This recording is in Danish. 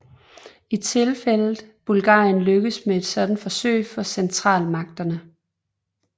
I tilfældet Bulgarien lykkedes et sådant forsøg for Centralmagterne